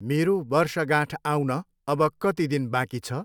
मेरो वर्षगाँठ आउन अब कति दिन बाँकी छ?